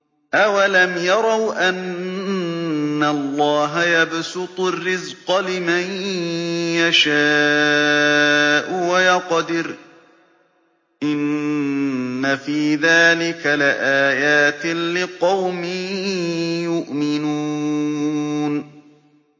أَوَلَمْ يَرَوْا أَنَّ اللَّهَ يَبْسُطُ الرِّزْقَ لِمَن يَشَاءُ وَيَقْدِرُ ۚ إِنَّ فِي ذَٰلِكَ لَآيَاتٍ لِّقَوْمٍ يُؤْمِنُونَ